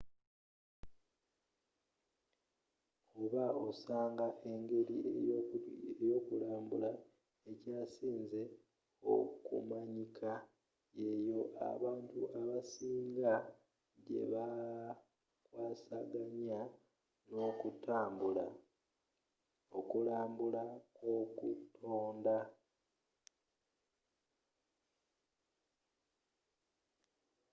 oba osanga engeri eyokulambula ekyasinze okumanyika yeyo abantu abasing gyebakwasaganya nokutambula okulambula kwokutonda